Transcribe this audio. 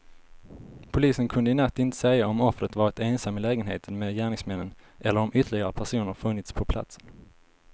Polisen kunde i natt inte säga om offret varit ensam i lägenheten med gärningsmännen eller om ytterligare personer funnits på platsen.